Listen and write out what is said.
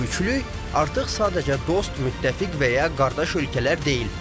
Bu üçlük artıq sadəcə dost, müttəfiq və ya qardaş ölkələr deyil.